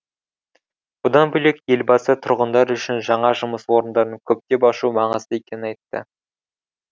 бұдан бөлек елбасы тұрғындар үшін жаңа жұмыс орындарын көптеп ашу маңызды екенін айтты